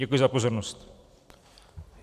Děkuji za pozornost.